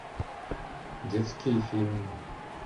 детские фильмы